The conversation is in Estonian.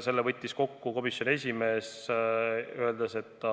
Selle võttis kokku komisjoni esimees, öeldes, et ta